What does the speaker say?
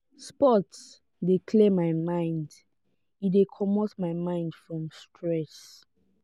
sports de clear my mind e de comot my mind from stress